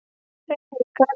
Ein vika er nóg